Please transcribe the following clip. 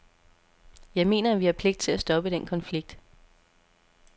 Jeg mener, at vi har pligt til at stoppe den konflikt.